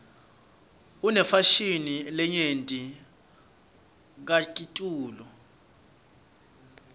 inefashini lenyenti kakitulu